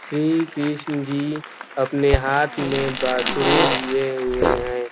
श्री कृष्ण जी अपने हाथ में बांसुरी लिए हुएँ हैं।